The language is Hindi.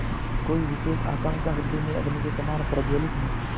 कोई विशेष आकांक्षा हृदय में अग्नि के समान प्रज्वलित नहीं